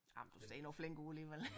Jamen du ser nu flink ud alligevel